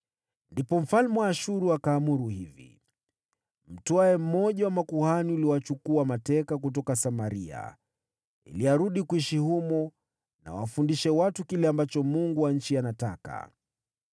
Ndipo mfalme wa Ashuru akaamuru hivi: “Mtwae mmoja wa makuhani uliowachukua mateka kutoka Samaria ili arudi kuishi humo na awafundishe watu kile ambacho Mungu wa nchi anataka.”